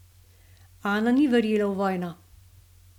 Ana ni verjela v vojno.